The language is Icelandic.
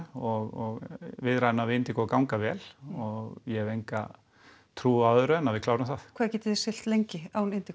og viðræðurnar við ganga vel og ég hef enga trú á öðru en að við klárum það hvað getið þið siglt lengi án